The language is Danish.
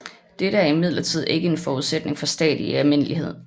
Dette er imidlertid ikke en forudsætning for stater i almindelighed